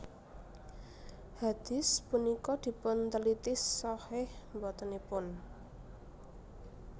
Hadits punika dipunteliti shahih botenipun